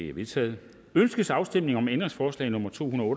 er vedtaget ønskes afstemning om ændringsforslag nummer to hundrede